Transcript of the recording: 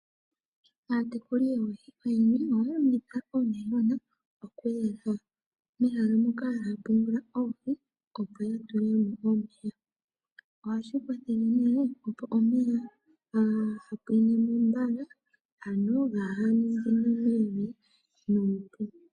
Aatekuli yoohi oyendji ohaya longitha oonayilona oku yeleka mehala moka haya pungula oohi, opo yedhi pungule mo. Ohashi kwathele omeya kaga pwine mbala ano kaga ningine mevi.